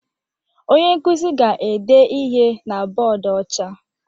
Onye nkuzi ga-ede ihe na bọọdụ ọcha